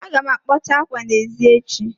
Aga m akpọcha ákwâ n'èzí echi